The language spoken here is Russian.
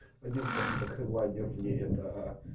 один скажем так хедлайнер и это